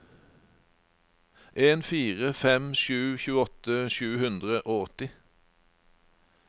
en fire fem sju tjueåtte sju hundre og åtti